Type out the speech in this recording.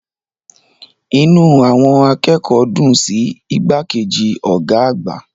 Inú àwọn akẹ́kọ̀ọ́ dùn sí igbákejì ọ̀gá àgbà.